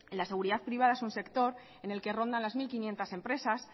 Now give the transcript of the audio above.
la seguridad privada es un sector en el que rondan las mil quinientos empresas